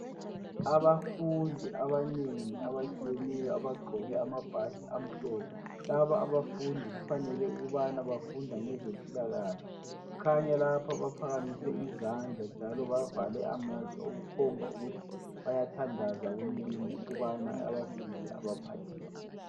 Abafundi abanengi abatshiyeneyo abagqoke amabhatshi amhlophe. Laba abafundi kufanele ukubana bafunda ngezempilakahle. Khanya lapha baphakamise izandla njalo bavale amehlo okukhomba ukuthi bayathandaza kumlimu ukubana abasize ebaphathise.